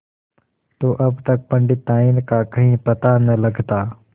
तो अब तक पंडिताइन का कहीं पता न लगता